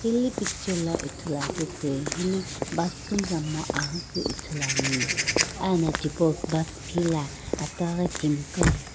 hile picture la Ithuluakeu toi hili bus kumazap kumo aghi kepu toi ithuluani ena tipau bus phila ataghi timi qo.